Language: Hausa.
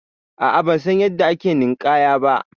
A'a bansan yanda ake ninƙaya ba.